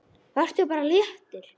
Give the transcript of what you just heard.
Vertu bara léttur!